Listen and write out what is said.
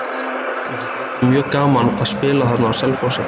Mér finnst alltaf mjög gaman að spila þarna á Selfossi.